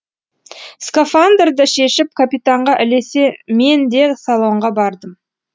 скафандрды шешіп капитанға ілесе мен де салонға бардым